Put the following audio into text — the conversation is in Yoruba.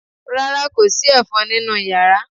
Rárá, kò sí ẹ̀fọn nínú yàrá